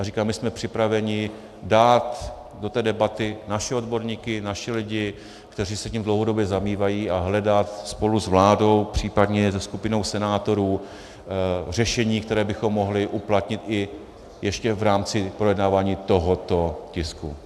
A říkám, my jsme připraveni dát do té debaty naše odborníky, naše lidi, kteří se tím dlouhodobě zabývají, a hledat spolu s vládou, případně se skupinou senátorů řešení, které bychom mohli uplatnit i ještě v rámci projednávání tohoto tisku.